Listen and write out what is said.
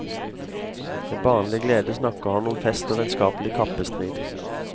Med barnlig glede snakker han om fest og vennskapelig kappestrid.